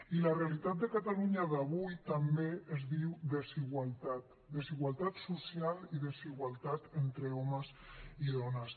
i la realitat de catalunya d’avui també es diu desigualtat desigualtat social i desigualtat entre homes i dones